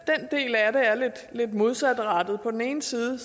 lidt modsatrettet på den ene side